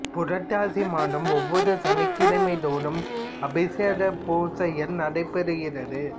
புரட்டாசி மாதம் ஒவ்வொரு சனிக்கிழமை தோறும் அபிஷேகம் பூசைகள் நடைபெறுகிறது